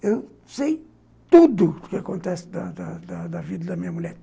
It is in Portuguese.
Eu sei tudo o que acontece da da da da da vida da minha mulher.